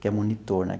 Que é monitor, né?